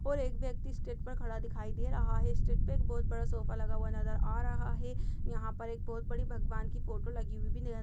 और एक व्यक्ति स्टेट पर खड़ा दिखाई दे रहा हे। स्टेट पे एक बोहत बड़ा सोफ़ा लगा हुआ नज़र आ रहा है। यहाँ पर एक बोहोत बड़ी भगवान की फोटो लगी हुई भी नज़र --